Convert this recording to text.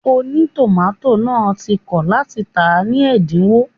Ònítòmátò náà ti kọ̀ láti tàá ní ẹ̀dínwó